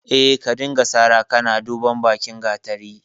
Eh, ka dinga sara kana duban bakin gatari.